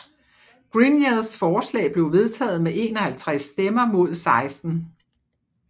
Greniers forslag blev vedtaget med 51 stemmer mod 16